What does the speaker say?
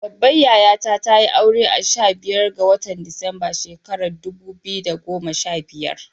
Babbar yayata tayi aure a sha biyar ga watan Disamba shekarar dubu biyu da goma sha biyar.